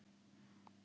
Ekki ennþá.